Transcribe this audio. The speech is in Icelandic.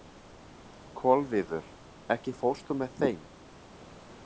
Kolviður, ekki fórstu með þeim?